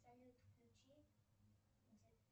салют включи